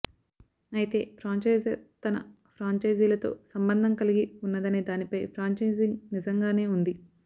అయితే ఫ్రాంఛైజర్ తన ఫ్రాంఛైజీలతో సంబంధం కలిగి ఉన్నదనే దానిపై ఫ్రాంఛైజింగ్ నిజంగానే ఉంది